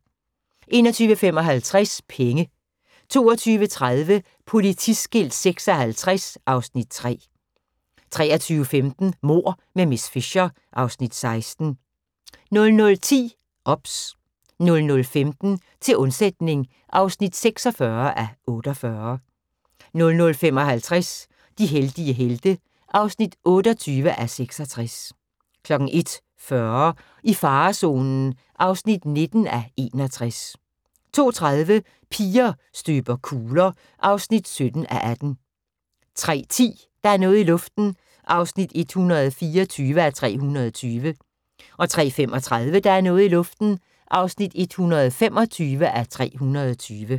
21:55: Penge 22:30: Politiskilt 56 (Afs. 3) 23:15: Mord med miss Fisher (Afs. 16) 00:10: OBS 00:15: Til undsætning (46:48) 00:55: De heldige helte (28:66) 01:40: I farezonen (19:61) 02:30: Piger støber kugler (17:18) 03:10: Der er noget i luften (124:320) 03:35: Der er noget i luften (125:320)